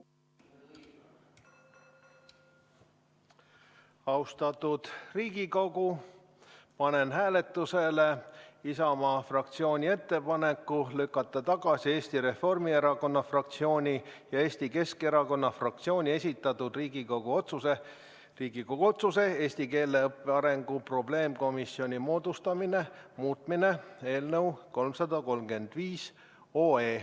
Austatud Riigikogu, panen hääletusele Isamaa fraktsiooni ettepaneku lükata tagasi Eesti Reformierakonna fraktsiooni ja Eesti Keskerakonna fraktsiooni esitatud Riigikogu otsuse "Riigikogu otsuse "Eesti keele õppe arengu probleemkomisjoni moodustamine" muutmine" eelnõu 335.